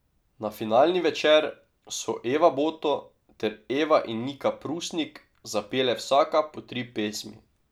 Na finalni večer so Eva Boto ter Eva in Nika Prusnik zapele vsaka po tri pesmi.